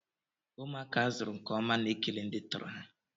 Ụmụaka azụrụ nkeọma na-ekele ndị tọrọ ha.